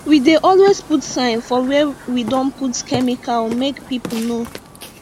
we dey always put sign for where we don put chemical make people know